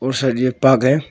Sir ये एक park है।